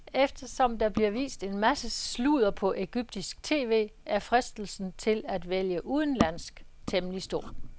Og eftersom der bliver vist en masse sludder på egyptisk tv, er fristelsen til at vælge udenlandsk temmelig stor.